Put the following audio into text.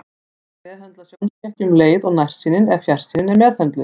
Hægt er að meðhöndla sjónskekkju um leið og nærsýnin eða fjarsýnin er meðhöndluð.